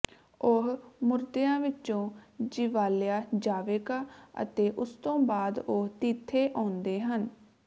ਉਹ ਮੁਰਦਿਆਂ ਵਿੱਚੋਂ ਜਿਵਾਲਿਆ ਜਾਵੇਗਾ ਅਤੇ ਉਸਤੋਂ ਬਾਅਦ ਉਹ ਤੀਥੇ ਆਉਂਦੇ ਹਨ